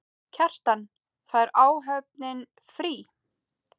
Kjartan: Fær áhöfnin frí?